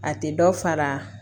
A tɛ dɔ fara